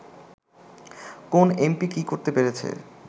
কোন এমপি কী করতে পেরেছে